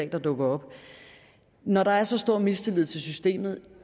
gang dukker op når der er så stor mistillid til systemet